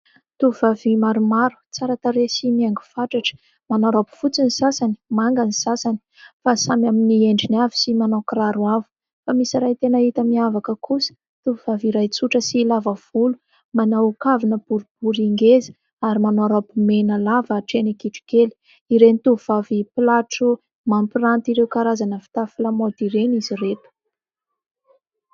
Tovovavy maromaro tsara tarehy sy mihaingo fatratra. Manao raoby fotsy ny sasany, manga ny sasany fa samy amin'ny endriny avy sy manao kiraro avo ; fa misy iray tena hita miavaka kosa. Tovovavy iray tsotra sy lavavolo, manao kavina boribory ngeza, ary manao raoby mena lava hatreny kitrokely. Ireny tovovavy mpilatro mampiranty ireo karazana fitafy lamaody ireny izy ireto.